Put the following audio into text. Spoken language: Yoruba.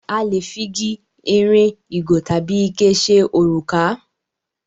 A lè fi gi, ìrìn, ìgò tabi ike ṣe òrùka.